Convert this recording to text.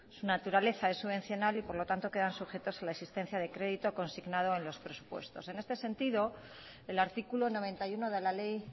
su naturaleza es subvencional y por lo tanto quedan sujetas a la existencia de crédito consignado en los presupuestos en este sentido el artículo noventa y uno de la ley